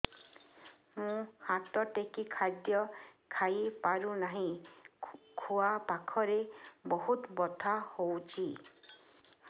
ମୁ ହାତ ଟେକି ଖାଦ୍ୟ ଖାଇପାରୁନାହିଁ ଖୁଆ ପାଖରେ ବହୁତ ବଥା ହଉଚି